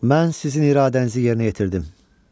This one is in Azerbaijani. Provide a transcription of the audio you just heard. Mən sizin iradənizi yerinə yetirdim.